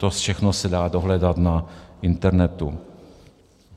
To všechno se dá dohledat na internetu.